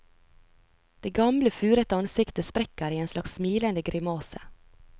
Det gamle, furete ansiktet sprekker i en slags smilende grimase.